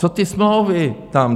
Co ty smlouvy tam?